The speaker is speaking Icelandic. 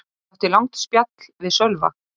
Ég átti langt spjall við Sölva.